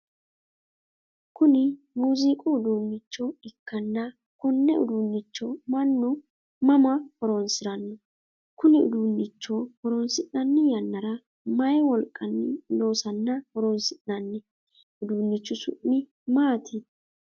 Kunni muuziiqu uduunnicho ikanna konne uduunnicho mannu mama horoonsirano? Kunni uduunnicho horoonsi'nanni yannara mayi wolqanni loosanna horoonsi'nanni? Uduunichu su'mi maati?